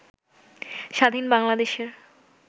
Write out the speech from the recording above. স্বাধীন বাংলাদেশের